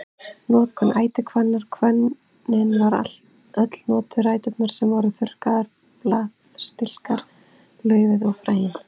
Notkun ætihvannar Hvönnin var öll notuð, ræturnar sem voru þurrkaðar, blaðstilkar, laufið og fræin.